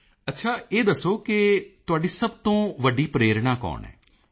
ਮੋਦੀ ਜੀ ਅੱਛਾ ਇਹ ਦੱਸੋ ਕਿ ਤੁਹਾਡੀ ਸਭ ਤੋਂ ਵੱਡੀ ਪ੍ਰੇਰਣਾ ਕੌਣ ਹੈ